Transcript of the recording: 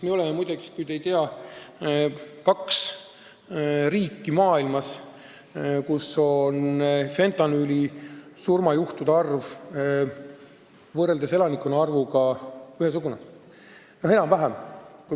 Me oleme, muide – ütlen juhuks, kui te ei tea –, kaks riiki maailmas, kus fentanüülisurmade arv võrreldes elanike arvuga on ühesugune, enam-vähem.